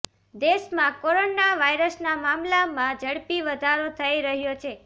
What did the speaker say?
દેશમાં કોરોના વાયરસના મામલામાં ઝડપી વધારો થઈ રહ્યો છે